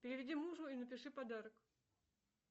переведи мужу и напиши подарок